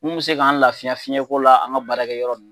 Mun mi se k'an lafiya fiɲɛko la, an ga baarakɛ yɔrɔ